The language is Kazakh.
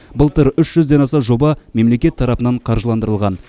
былтыр үш жүзден аса жоба мемлекет тарапынан қаржыландырылған